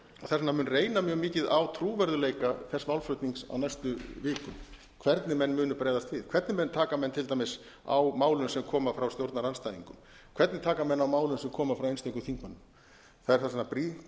vegna mun reyna mjög mikið á trúverðugleika þess málflutnings á næstu vikum hvernig menn munu bregðast við hvernig menn taka menn til dæmis á málum sem koma frá stjórnarandstæðingum hvernig taka menn á málum sem koma frá einstökum þingmönnum þess vegna er